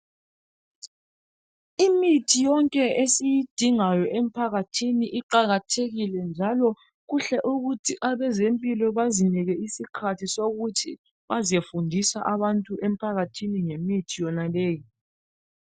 Imithi yonke esiyidingayo emphakathini iqakathekile njalo kuhle ukuthi abezempilo bazinike isikhathi sokuthi bazofundisa abantu emphakathini ngemithi yonaleyi.